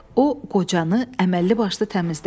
O qocanı əməlli başlı təmizlədi.